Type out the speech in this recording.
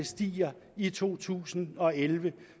stiger i to tusind og elleve